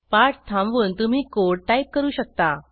पाठ थांबवून तुम्ही कोड टाईप करू शकता